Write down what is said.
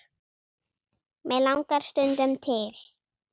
mig langar stundum til.